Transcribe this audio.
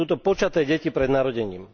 Sú to počaté deti pred narodením.